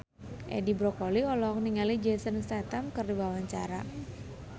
Edi Brokoli olohok ningali Jason Statham keur diwawancara